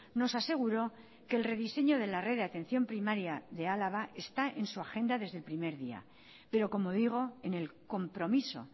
nos aseguró que el rediseño de la red de atención primaria de álava está en su agenda desde el primer día pero como digo en el compromiso